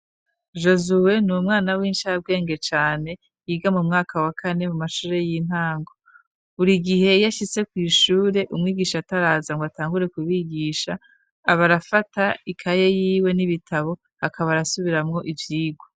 Jozuwe ni umwana w'inshirabwenge cane yiga mu mwaka wa kane mu mashure y'intango .Buri gihe yashyise ku ishure umwigisha ataraza ngo atangure kubigisha abarafata ikaye yiwe n'ibitabo hakaba arasubiramwo ivyirwa.